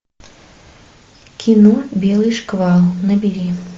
кино белый шквал набери